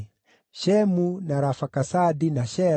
Shemu, na Arafakasadi, na Shela,